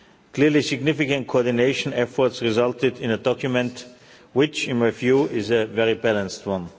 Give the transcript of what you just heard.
Clearly, significant coordination efforts resulted in a document which, in my view, is a very balanced one.